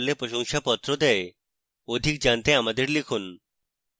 অধিক জানতে আমাদের লিখুন